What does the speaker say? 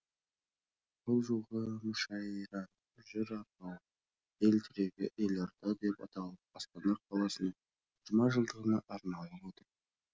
бұл жолғы мүшәйраның жыр арқауы ел тірегі елорда деп аталып астана қаласының жиырма жылдығына арналып отыр